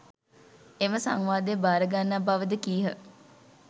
එම සංවාදය භාරගන්නා බවද කීහ.